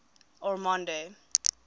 ormonde